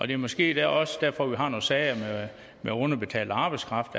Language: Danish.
det er måske også derfor vi har nogle sager med underbetalt arbejdskraft